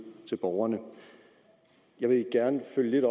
til borgerne jeg vil gerne følge lidt